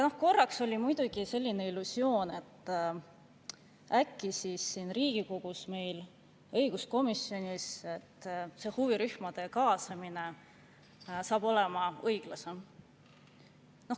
Korraks oli muidugi selline illusioon, et äkki siin Riigikogus, meil õiguskomisjonis see huvirühmade kaasamine saab olema õiglasem.